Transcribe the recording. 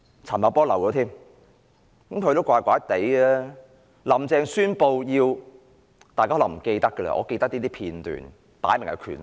陳茂波也是怪怪的，大家可能忘記了，但我記得一些片段，擺明是權鬥。